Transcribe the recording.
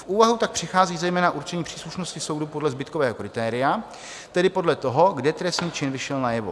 V úvahu tak přichází zejména určení příslušnosti soudu podle zbytkového kritéria, tedy podle toho, kde trestný čin vyšel najevo.